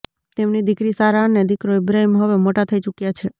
તેમની દીકરી સારા અને દીકરો ઈબ્રાહિમ હવે મોટા થઈ ચુક્યા છે